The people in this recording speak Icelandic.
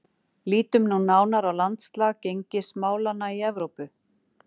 Lítum nú nánar á landslag gengismálanna í Evrópu.